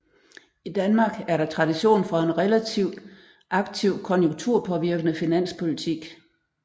I Danmark er der tradition for en relativt aktiv konjunkturpåvirkende finanspolitik